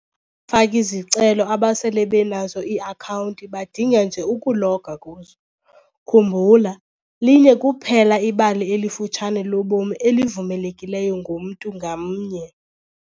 faki-zicelo abasele benazo ii-akhawunti badinga nje ukuloga kuzo - khumbula, linye kuphela ibali elifutshane lobomi elivumelekileyo ngomntu ngamnye.